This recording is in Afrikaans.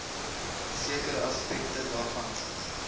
sekere aspekte daarvan